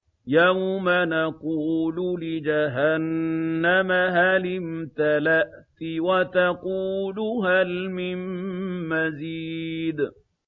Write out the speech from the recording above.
يَوْمَ نَقُولُ لِجَهَنَّمَ هَلِ امْتَلَأْتِ وَتَقُولُ هَلْ مِن مَّزِيدٍ